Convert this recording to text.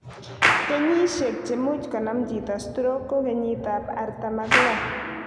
Kenyisiek chemuch konam chito stroke ko kenyit ab artam ak loo